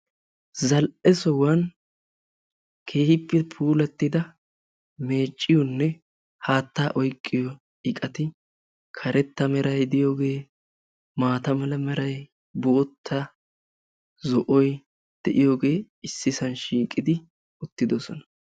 Zal"e sohuwan keehippe puulatida meecciyone haatta oyqqiyoo iqqati karetta meray diyooge maata mala meray bootta zo'oy diyooge issisan shiiqidi uttidoosona